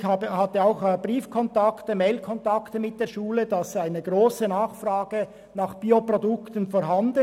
Ich hatte auch Brief- und Mailkontakt mit der Schule, und es wurde mir gesagt, es sei eine grosse Nachfrage nach Bioprodukten vorhanden.